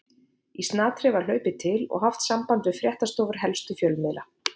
Í snatri var hlaupið til og haft samband við fréttastofur helstu fjölmiðlanna.